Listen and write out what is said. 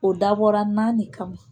O dabɔra naani kama